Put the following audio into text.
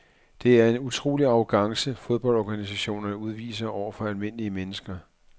Det er en utrolig arrogance fodboldorganisationerne udviser over for almindelige mennesker.